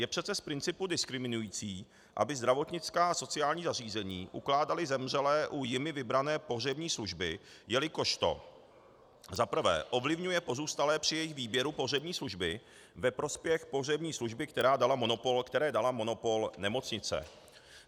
Je přece z principu diskriminující, aby zdravotnická a sociální zařízení ukládala zemřelé u jimi vybrané pohřební služby, jelikož to - za prvé - ovlivňuje pozůstalé při jejich výběru pohřební služby ve prospěch pohřební služby, které dala monopol nemocnice.